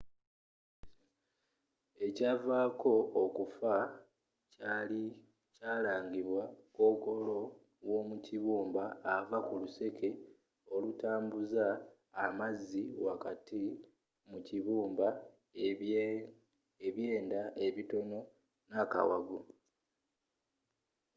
ekyavaako okufa kyalangibwa kokolo w'omukibumba ava kuluseke olutambuza amazzi wakati mu kibumba ebyenda ebitono n'akawago